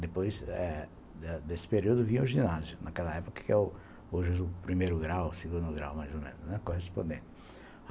Depois eh desse período vinha o ginásio, naquela época, que hoje é o primeiro grau, segundo grau, mais ou menos, correspondente.